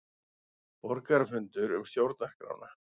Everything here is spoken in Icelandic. Borgarafundur um stjórnarskrána